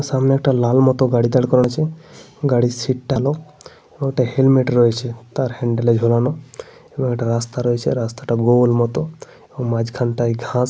সামনে একটা লাল মতো গাড়ি দাঁড় করা আছে। গাড়ির সিট্ টা লো । ও তার হেলমেট রয়েছে তার হ্যান্ডেল এ ঝোলানো। এবং একটা রাস্তা রয়েছে। রাস্তাটা গোল মতো। এবং মাঝখানটায় ঘাস --